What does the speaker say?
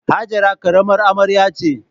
Hajara karamar amarya ce.